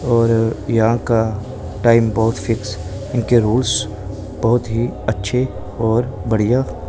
और यहां का टाइम बहोत फिक्स इनके रूल्स बहोत ही अच्छे और बढ़िया--